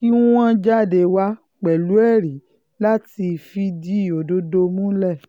kí wọ́n jáde wá pẹ̀lú ẹ̀rí láti fìdí òdodo múlẹ̀